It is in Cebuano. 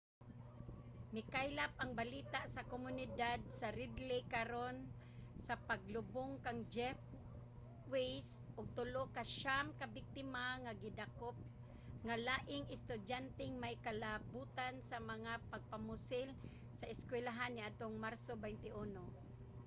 mikaylap ang balita sa komunidad sa red lake karon sa paglubong kang jeff weise ug tulo sa siyam ka biktima ang gidakop nga laing estudyanteng may kalabotan sa mga pagpamusil sa eskuwelahan niadtong marso 21